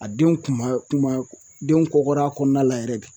A den kunba kunba denw kɔkɔra kɔnɔna la yɛrɛ de